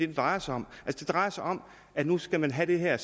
det drejer sig om det drejer sig om at man skal have det her